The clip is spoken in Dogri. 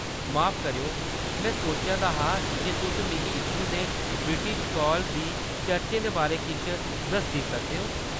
माफ करेओ, में सोचा दा हा जे तुस मिगी इत्थूं दे ब्रिटिश काल दी चर्चें दे बारै किश दस्सी सकदे ओ?